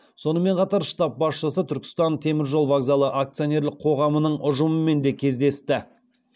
сонымен қатар штаб басшысы түркістан теміржол вокзалы акционерлік қоғамның ұжымымен де кездесті